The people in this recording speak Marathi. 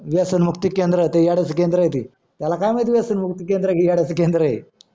व्यसन मुक्ती केंद्र ते येडचा केंद्र आहे ते त्याला काय माहिती व्यसन मुक्ती केंद्र हे येडयाचा केंद्र आहे